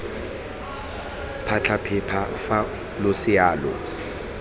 phatlha phepa fa losea lo